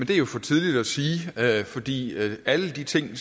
jo for tidligt at sige fordi alle de ting